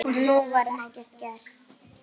Og nú var ekkert gert.